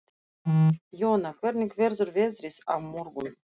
Jóna, hvernig verður veðrið á morgun?